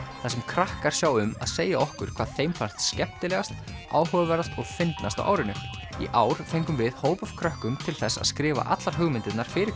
þar sem krakkar sjá um að segja okkur hvað þeim fannst skemmtilegast áhugaverðast og fyndnast á árinu í ár fengum við hóp af krökkum til þess að skrifa allar hugmyndirnar fyrir